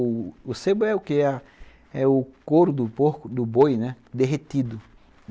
O sebo é o que é a é o couro do porco do boi derretido.